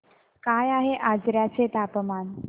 काय आहे आजर्याचे तापमान